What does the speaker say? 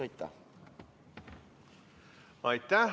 Aitäh!